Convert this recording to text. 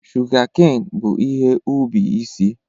Shụgakein bụ ihe ubi isi.